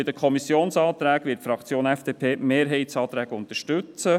Bei den Kommissionsanträgen wird die Fraktion der FDP die Mehrheitsanträge unterstützen.